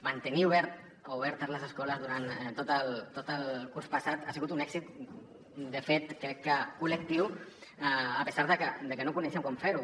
mantenir obertes les escoles durant tot el curs passat ha sigut un èxit de fet crec que col·lectiu a pesar que no coneixíem com fer ho